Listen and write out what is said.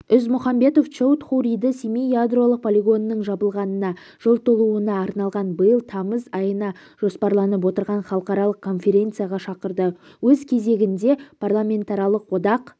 ізмұхамбетов чоудхуриді семей ядролық полигонының жабылғанына жыл толуына арналған биыл тамыз айына жоспарланып отырған халықаралық конференцияға шақырды өз кезегінде парламентаралық одақ